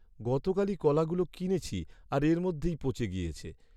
গতকালই কলাগুলো কিনেছি আর এর মধ্যেই পচে গিয়েছে।